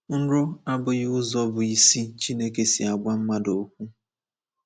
Nrọ abụghị ụzọ bụ́ isi Chineke si agwa mmadụ okwu.